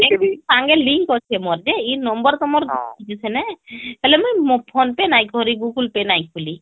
link ଅଛେ ମୋର ଯେ ଇଏ number ତ ମୋର ହମ୍ହେଲେ ମୋର phone pay ନାଇଁ କରି google pay ନାଇଁ ଖୁଲୀ